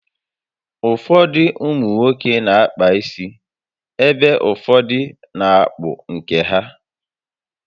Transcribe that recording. Ụfọdụ ụmụnwoke n'akpa isi ebe ụfọdụ n'akpụ nke ha